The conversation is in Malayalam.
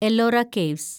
എല്ലോറ കേവ്സ്